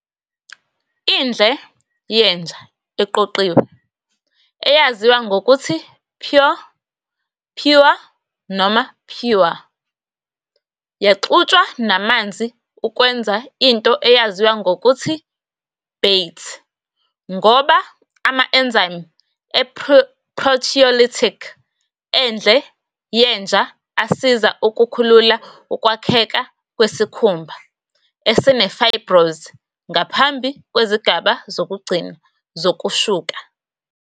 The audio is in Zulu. Indle yenja eqoqiwe, eyaziwa ngokuthi "pure", "puer", noma "pewer", yaxutshwa namanzi ukwenza into eyaziwa ngokuthi "bate", ngoba ama-enzyme e-proteolytic endle yenja asiza ukukhulula ukwakheka kwesikhumba esine-fibrous ngaphambi kwezigaba zokugcina zokushuka.